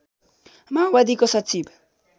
माओवादीको सचिव